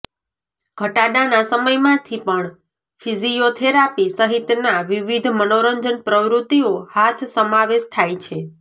ઘટાડાના સમયમાંથી પણ ફિઝીયોથેરાપી સહિતના વિવિધ મનોરંજન પ્રવૃત્તિઓ હાથ સમાવેશ થાય છે